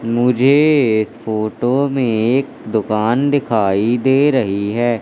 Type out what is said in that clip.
मुझे इस फोटो में एक दुकान दिखाई दे रही है।